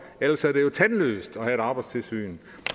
ellers er det jo tandløst at have et arbejdstilsyn